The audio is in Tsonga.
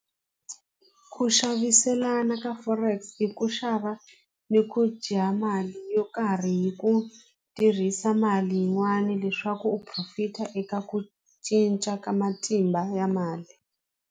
Ku xaviselana ka Forex i ku xava ni ku dya mali yo karhi hi ku tirhisa mali yin'wani leswaku u profit-a eka ku cinca ka matimba ya mali.